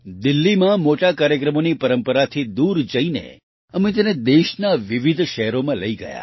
દિલ્હીમાં મોટા કાર્યક્રમોની પરંપરાથી દૂર જઈને અમે તેને દેશના વિવિધ શહેરોમાં લઈ ગયા